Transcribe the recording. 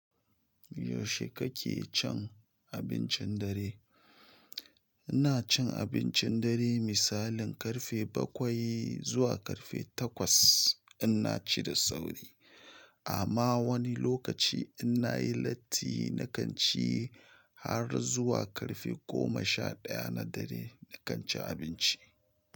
Yaushe kake cin abincin dare? Ina cin abincin dare misalin karfe bakwai zuwa karfe takwas in na ci da sauri. Amma wani lokaci in na yi latti na kan ci har zuwa ƙarfe goma sha ɗaya na dare, nakan ci abinci.